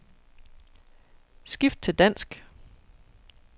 Skift til dansk.